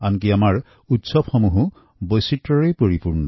তেনেদৰে আমাৰ উৎসৱসমূহো বৈচিত্ৰৰে ভৰপুৰ